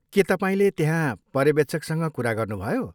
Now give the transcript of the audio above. के तपाईँले त्यहाँ पर्यवेक्षकसँग कुरा गर्नुभयो?